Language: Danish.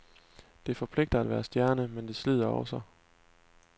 Det forpligter at være stjerne, men det slider også.